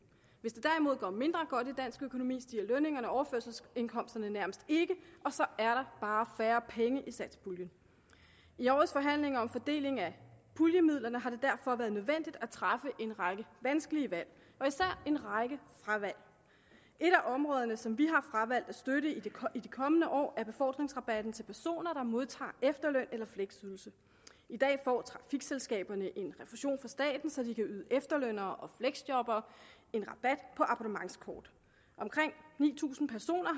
hvis det derimod går mindre godt for dansk økonomi stiger lønningerne og overførselsindkomsterne nærmest ikke og så er der bare færre penge i satspuljen i årets forhandlinger om fordeling af puljemidlerne har det derfor været nødvendigt at træffe en række vanskelige valg og især en række fravalg et af områderne som vi har fravalgt at støtte i de kommende år er befordringsrabatten til personer der modtager efterløn eller fleksydelse i dag får trafikselskaberne en refusion fra staten så de kan yde efterlønnere og fleksjobbere en rabat på abonnementskort omkring ni tusind personer